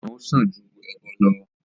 igboran ó sàn ju ẹbọ lọ